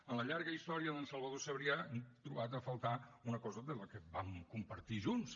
en la llarga història d’en sergi sabrià hem trobat a faltar una cosa que vam compartir junts